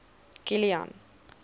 kilian